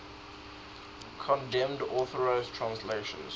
condemned unauthorized translations